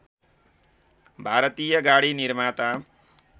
भारतीय गाडी निर्माता